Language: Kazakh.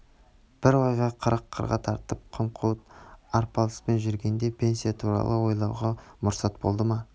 бір ойға бір қырға тартып қымқуыт арпалыспен жүргенде пенсия туралы ойлауға мұрсат болды ма